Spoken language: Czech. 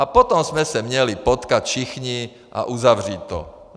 A potom jsme se měli potkat všichni a uzavřít to.